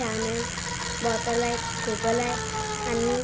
Fan आहे. Bottle आहेत. Table आहे. आंणि --